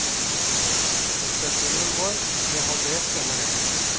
Omsetningen vår ble halvert denne helgen.